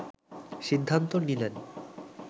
সিদ্ধান্ত নিলেন